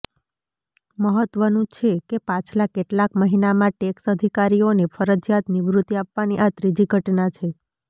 મહત્વનું છે કે પાછલા કેટલાક મહિનામાં ટેક્સ અધિકારીઓને ફરજિયાત નિવૃતિ આપવાની આ ત્રીજી ઘટના છે